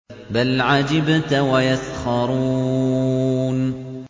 بَلْ عَجِبْتَ وَيَسْخَرُونَ